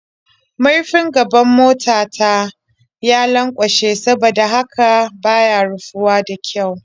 Murfin gaban mota ta ya lanƙwashe saboda haka ba ya rufuwa da ƙyau.